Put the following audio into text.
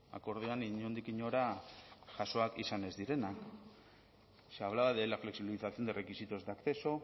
akordioan inondik inora jasoak izan ez direnak se hablaba de la flexibilización de requisitos de acceso